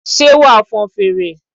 Ṣé wà á fọn fèrè?